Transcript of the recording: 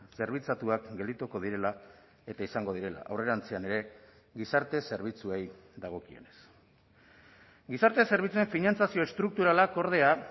zerbitzatuak geldituko direla eta izango direla aurrerantzean ere gizarte zerbitzuei dagokienez gizarte zerbitzuen finantzazio estrukturalak ordea